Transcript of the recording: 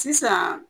Sisan